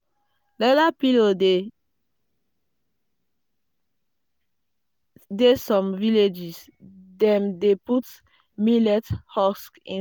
leather pillow dey some villages dem dey put millet husk inside.